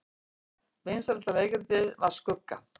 Vinsælasta leikritið var Skugga